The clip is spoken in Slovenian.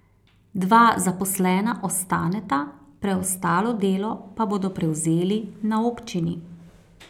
Dva zaposlena ostaneta, preostalo delo pa bodo prevzeli na občini.